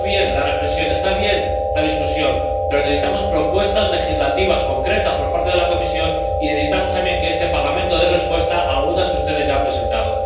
Está bien la reflexión, está bien la discusión, pero necesitamos propuestas legislativas concretas por parte de la Comisión y necesitamos también que este Parlamento dé respuesta a algunas que ustedes ya han presentado.